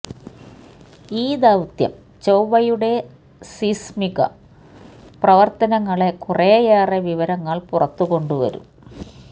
ഈ ദൌത്യം ചൊവ്വയുടെ സീസ്മിക പ്രവർത്തനങ്ങളെ കുറെയേറെ വിവരങ്ങൾ പുറത്തു കൊണ്ടുവരും